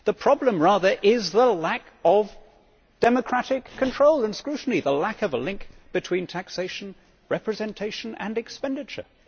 The problem rather is the lack of democratic control and scrutiny, the lack of a link between taxation, representation and expenditure.